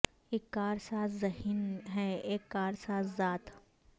اک کار ساز ذہن ہے اک کار ساز ذات